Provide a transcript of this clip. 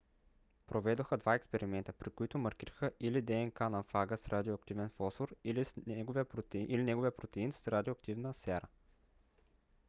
проведоха два експеримента при които маркираха или днк на фага с радиоактивен фосфор или неговия протеин с радиоактивна сяра